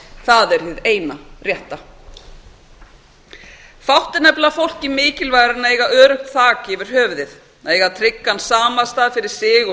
það er hið eina rétta fátt er nefnilega fólki mikilvægara en að eiga öruggt þak yfir höfuðið að eiga tryggan samastað fyrir sig og